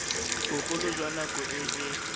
bogolo jwa nako e e